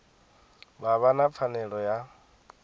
vha vha na pfanelo ya